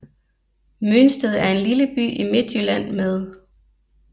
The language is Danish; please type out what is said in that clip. Mønsted er en lille by i Midtjylland med